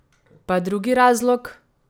Pa drugi razlog?